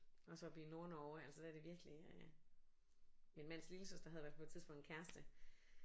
Også oppe i Nordnorge altså der er det virkelig øh min mands lillesøster havde i hvert fald på et tidspunkt en kæreste